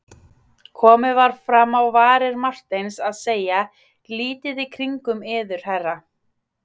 Komið var fram á varir Marteins að segja: lítið í kringum yður herra.